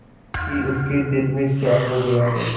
कि उसके दिल में क्या हो गया है